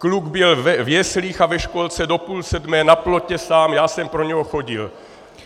Kluk byl v jeslích a ve školce do půl sedmé, na plotě sám, já jsem pro něho chodil.